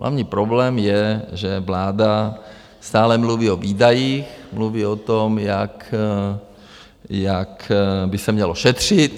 Hlavní problém je, že vláda stále mluví o výdajích, mluví o tom, jak by se mělo šetřit.